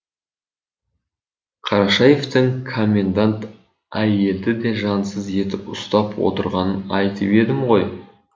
қарашаевтың комендант әйелді де жансыз етіп ұстап отырғанын айтып едім ғой